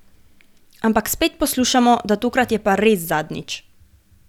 Ampak spet poslušamo, da tokrat je pa res zadnjič.